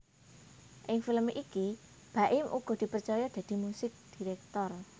Ing film iki Baim uga dipercaya dadi musik director